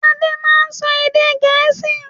Ade máa ń sọ èdè Gẹ̀ẹ́sì.